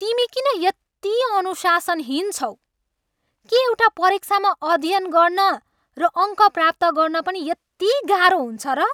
तिमी किन यति अनुशासनहीन छौ? के एउटा परीक्षामा अध्ययन गर्न र अङ्क प्राप्त गर्न पनि यति गाह्रो हुन्छ र?